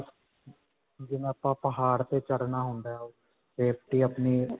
ਜਿਵੇਂ ਆਪਾਂ ਪਹਾੜ ਦੇ ਚੜਨਾ ਹੁੰਦਾ ਹੈ safety ਅਪਨੀ.